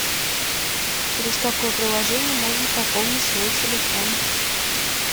через какое приложение можно пополнить свой телефон